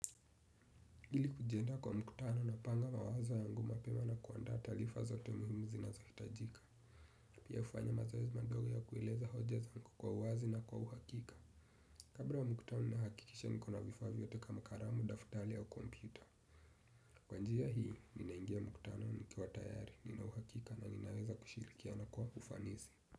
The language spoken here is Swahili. Ili kujiandaa kwa mkutano napanga mawazo yangu mapema na kuandaa taarifa zote muhimu zinazohitajika. Pia hufanya mazoezi madogo ya kueleza hoja zangu kwa uwazi na kwa uhakika. Kabla ya mkutano nahakikisha niko na vifaa vyote kama karamu, daftali au kompyuta. Kwa njia hii, ninaingia mkutano nikiwa tayari, nina uhakika na ninaweza kushirikiana kwa ufanisi.